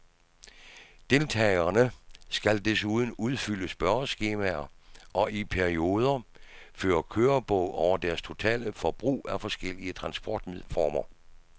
Deltagerne skal desuden udfylde spørgeskemaer og i perioder føre kørebog over deres totale forbrug af forskellige transportformer.